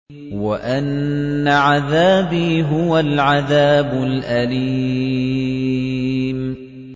وَأَنَّ عَذَابِي هُوَ الْعَذَابُ الْأَلِيمُ